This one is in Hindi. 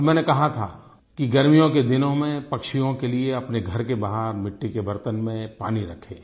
और मैंने कहा था कि गर्मियों के दिनों मे पक्षियों के लिए अपने घर के बाहर मिट्टी के बर्तनों मे पानी रखे